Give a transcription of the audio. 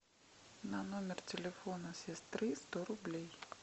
на номер телефона сестры сто рублей